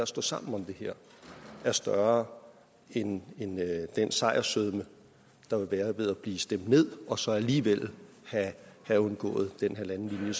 stå sammen om det her er større end den sejrssødme der vil være ved at blive stemt ned og så alligevel have undgået den halvanden